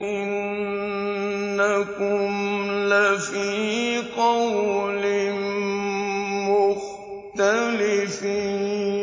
إِنَّكُمْ لَفِي قَوْلٍ مُّخْتَلِفٍ